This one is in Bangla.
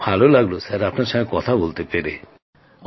খুব ভালো লাগলো আপনার সঙ্গে কথা বলতে পেরে